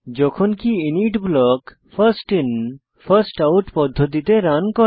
যখনকি init block first in first out পদ্ধতিতে run হয়